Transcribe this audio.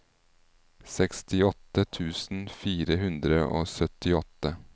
sekstiåtte tusen fire hundre og syttiåtte